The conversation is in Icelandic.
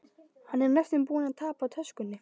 Hann er næstum búinn að tapa töskunni.